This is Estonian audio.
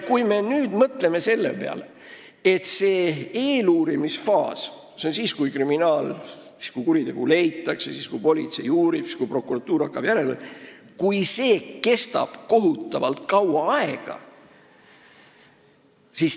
Mõtleme nüüd selle peale, kui eeluurimisfaas – see on siis, kui kuritegu avastatakse, kui politsei uurib ja kui prokuratuur tegutsema hakkab – kestab kohutavalt kaua aega.